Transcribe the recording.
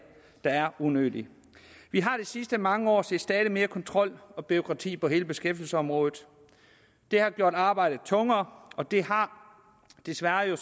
er unødige vi har de sidste mange år set stadig mere kontrol og bureaukrati på hele beskæftigelsesområdet det har gjort arbejdet tungere og det har desværre